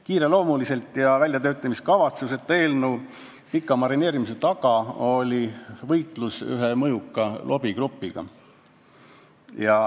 Kiireloomuliselt ja ilma väljatöötamiskavatsuseta tehtud eelnõu pika marineerimise taga oli võitlus ühe mõjuka lobigrupiga.